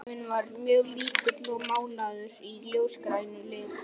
Klefinn var mjög lítill og málaður í ljósgrænum lit.